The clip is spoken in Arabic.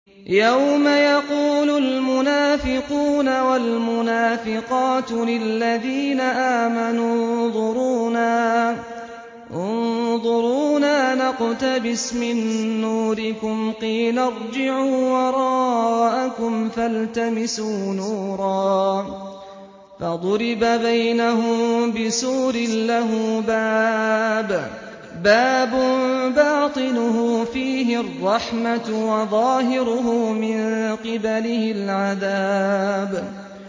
يَوْمَ يَقُولُ الْمُنَافِقُونَ وَالْمُنَافِقَاتُ لِلَّذِينَ آمَنُوا انظُرُونَا نَقْتَبِسْ مِن نُّورِكُمْ قِيلَ ارْجِعُوا وَرَاءَكُمْ فَالْتَمِسُوا نُورًا فَضُرِبَ بَيْنَهُم بِسُورٍ لَّهُ بَابٌ بَاطِنُهُ فِيهِ الرَّحْمَةُ وَظَاهِرُهُ مِن قِبَلِهِ الْعَذَابُ